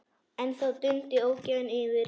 En þá dundi ógæfan yfir.